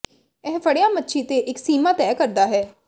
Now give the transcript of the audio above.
ਇਹ ਫੜਿਆ ਮੱਛੀ ਤੇ ਇੱਕ ਸੀਮਾ ਤੈਅ ਕਰਦਾ ਹੈ